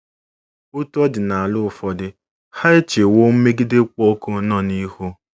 Otú ọ dị n'ala ụfọdụ, ha echewo mmegide kpụ ọkụ n'ọnụ ihu.